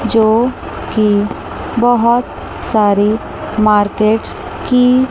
जोकी बहोत सारी मार्केट की--